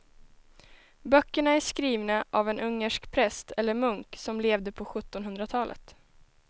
Böckerna är skrivna av en ungersk präst eller munk som levde på sjuttonhundratalet.